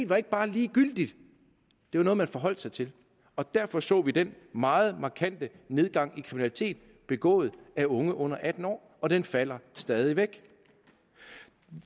var ikke bare ligegyldigt det var noget man forholdt sig til og derfor så vi den meget markante nedgang i kriminalitet begået af unge under atten år og den falder stadig væk